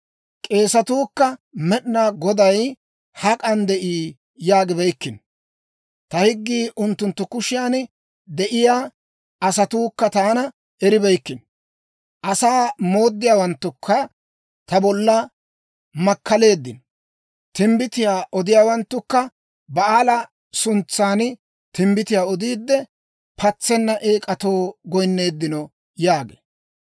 K'eesetuukka, ‹Med'inaa Goday hak'an de'ii?› yaagibeykkino. Ta higgii unttunttu kushiyan de'iyaa asatuukka taana eribeykkino. Asaa mooddiyaawanttukka ta bolla makkaleeddino. Timbbitiyaa odiyaawanttukka Ba'aala suntsan timbbitiyaa odiide, patsenna eek'atoo goyinneeddino» yaagee.